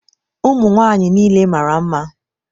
ụmụ nwanyị niile mara mma!